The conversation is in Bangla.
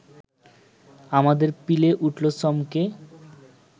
আমাদের পিলে উঠল চমকে